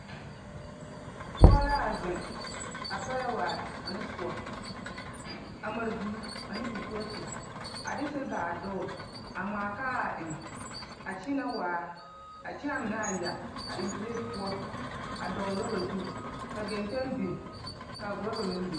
Pɔge la a zeŋ a pɛlɛ waare ne soɔ a mare vuu ane kiripooti a de siba a dogle a ŋmaa kaa a eŋ a kyiinɛ waare kyɛ a kyii a mine yɛ a eŋ plate poɔ a dɔgle rɔɔba zu ka geŋteŋ biŋ ka a rɔɔba meŋ biŋ.